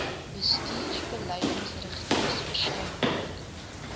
bestuursbeleidsrigtings verskyn ook